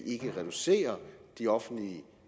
ikke reducerer de offentlige